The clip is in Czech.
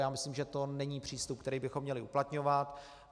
Já myslím, že to není přístup, který bychom měli uplatňovat.